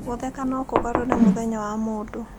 Gũtheka no kũgarũre mũthenya wa mũndũ.